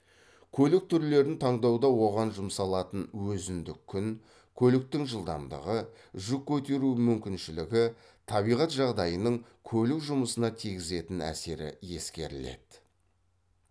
көлік түрлерін таңдауда оған жұмсалатын өзіндік күн көліктің жылдамдығы жүк көтеру мүмкіншілігі табиғат жағдайының көлік жұмысына тигізетін әсері ескеріледі